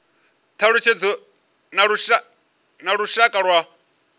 thalutshedzo na lushaka lwa mbilaelo